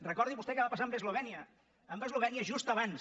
recordi vostè què va passar amb eslovènia amb eslovènia just abans